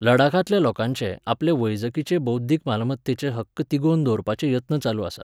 लडाखांतल्या लोकांचे, आपले वैजकीचे बौध्दिक मालमत्तेचे हक्क तिगोवन दवरपाचे यत्न चालूच आसात.